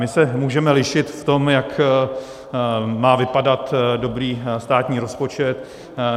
My se můžeme lišit v tom, jak má vypadat dobrý státní rozpočet.